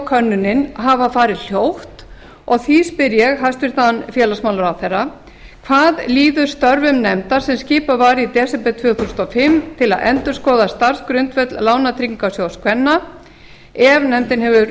könnunin hafa farið hljótt og því spyr ég hæstvirtan félagsmálaráðherra hvað líður störfum nefndar sem skipuð var í desember tvö þúsund og fimm til að endurskoða starfsgrundvöll lánatryggingarsjóðs kvenna ef nefndin hefur